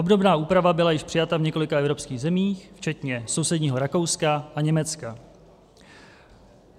Obdobná úprava byla již přijata v několika evropských zemích, včetně sousedního Rakouska a Německa.